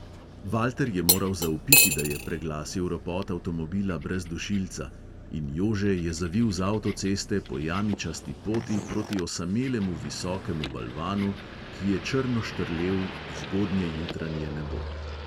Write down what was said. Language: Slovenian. Valter je moral zavpiti, da je preglasil ropot avtomobila brez dušilca, in jože je zavil z avtoceste po jamičasti poti proti osamelemu visokemu balvanu, ki je črno štrlel v zgodnjejutranje nebo.